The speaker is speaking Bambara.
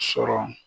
Sɔrɔ